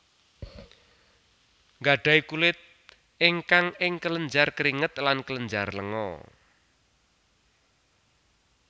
Gadahi kulit ingkang ing kelenjar keringet lan kelenjar lenga